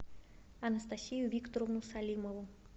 анастасию викторовну салимову